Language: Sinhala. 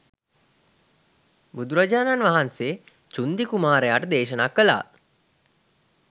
බුදුරජාණන් වහන්සේ චුන්දි කුමාරයාට දේශනා කළා.